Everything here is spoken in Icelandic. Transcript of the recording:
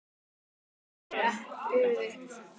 En hún var horfin, gufuð upp.